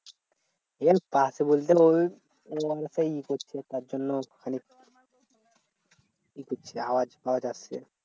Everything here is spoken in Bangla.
এই পাশে বলতে ঐ তার জন্য খানিক ই করছে আওয়াজ পাওয়া যাচ্ছে